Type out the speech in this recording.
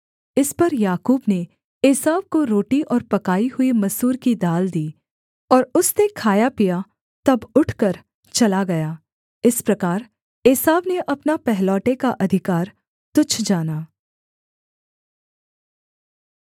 इस पर याकूब ने एसाव को रोटी और पकाई हुई मसूर की दाल दी और उसने खाया पिया तब उठकर चला गया इस प्रकार एसाव ने अपना पहलौठे का अधिकार तुच्छ जाना